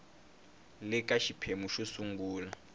le ka xiphemu xo sungula